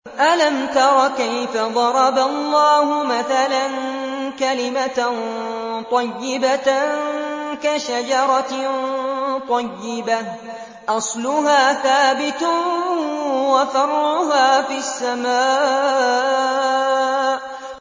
أَلَمْ تَرَ كَيْفَ ضَرَبَ اللَّهُ مَثَلًا كَلِمَةً طَيِّبَةً كَشَجَرَةٍ طَيِّبَةٍ أَصْلُهَا ثَابِتٌ وَفَرْعُهَا فِي السَّمَاءِ